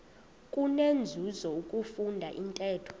kunenzuzo ukufunda intetho